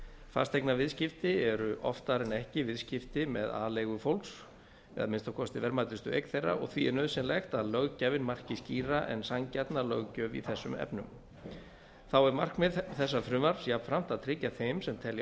fasteignaviðskipti eru oftar en ekki viðskipti með aleigu fólks eða að minnsta kosti verðmætustu eign þeirra og því er nauðsynlegt að löggjafinn marki skýra en sanngjarna löggjöf í þessum efnum þá er markmið þessa frumvarps jafnframt að tryggja þeim sem telja